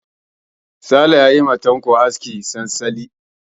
Sale ya yi ma Tanko askin tantali.